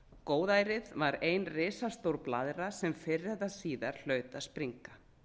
góðærið var ein risastór blaðra sem fyrr eða síðar hlaut að springa